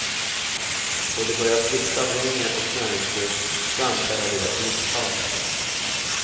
Då de börjar svikta av hunger och näringsbrist framkallar det ett missfall. punkt